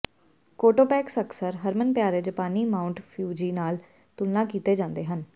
ਕੋਟੋਪੈਕਸ ਅਕਸਰ ਹਰਮਨਪਿਆਰੇ ਜਪਾਨੀ ਮਾਊਂਟ ਫਿਊਜੀ ਨਾਲ ਤੁਲਨਾ ਕੀਤੇ ਜਾਂਦੇ ਹਨ